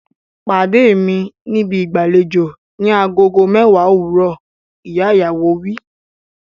Pàdé mi níbi ìgbàlejò ni agogo mẹ́wàá òwúrọ̀! Ìyá ìyàwó wí.